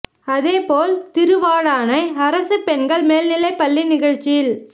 அதேபோல் திருவா டானை அரசு பெண் கள் மேல்நிலைபள்ளி நிகழ்ச்சியில்